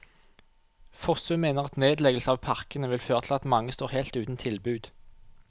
Fossum mener at nedleggelse av parkene vil føre til at mange står helt uten tilbud.